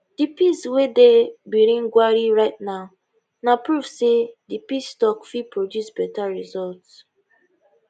di peace wey dey birnin gwari right now na proof say di peace tok fit produce beta result